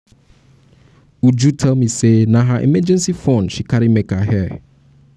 uju tell me say na her emergency fund she carry make her hair